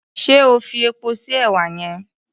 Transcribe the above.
Ṣé o fi epo sí èwà yẹn?